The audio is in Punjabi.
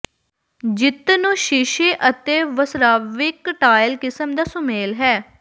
ਜਿੱਤ ਨੂੰ ਸ਼ੀਸ਼ੇ ਅਤੇ ਵਸਰਾਵਿਕ ਟਾਇਲ ਕਿਸਮ ਦਾ ਸੁਮੇਲ ਹੈ